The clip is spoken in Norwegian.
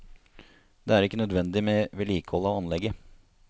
Det er ikke nødvendig med vedlikehold av anlegget.